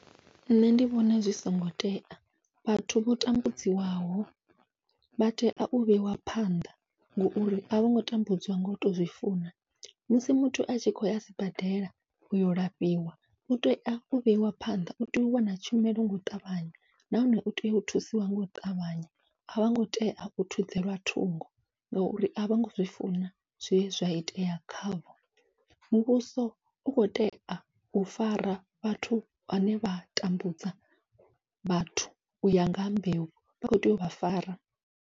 Nṋe ndi vhona zwi songo tea vhathu vho tambudziwaho vha tea u vheiwa phanḓa, ngauri avhongo tambudziwa ngau to zwi funa musi muthu atshi khou ya sibadela uyo lafhiwa utea u vheiwa phanḓa utea u wana tshumelo u ṱavhanya. Nahone utea u thusiwa ngau ṱavhanya avhongo tea u thudzelwa thungo, ngauri avhongo zwi funa zwe zwa itea khavho muvhuso u khou tea u fara vhathu vhane vha tambudza vhathu uya ngaha mbeu u khou tea uvha fara.